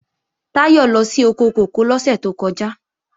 Táyọ̀ lọ sí oko kòkó lọ́sẹ̀ tó kọjá